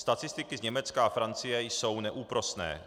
Statistiky z Německa a Francie jsou neúprosné.